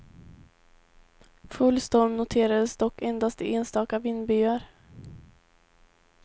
Full storm noterades dock endast i enstaka vindbyar.